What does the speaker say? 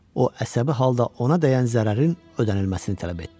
O əsəbi halda ona dəyən zərərin ödənilməsini tələb etdi.